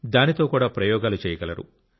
దానితో కూడా ప్రయోగాలు చేయగలరు